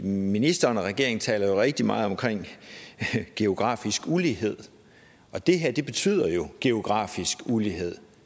ministeren og regeringen taler rigtig meget om geografisk ulighed og det her betyder jo geografisk ulighed